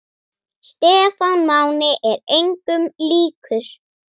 Stefán Máni er engum líkur.